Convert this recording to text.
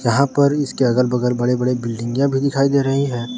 यहां पर इसके अगल बगल बड़े बड़े बिल्डिंगे भी दिखाई दे रही है।